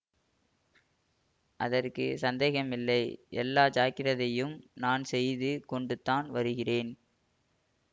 அதற்கு சந்தேகம் இல்லை எல்லா ஜாக்கிரதையும் நான் செய்து கொண்டு தான் வருகிறேன்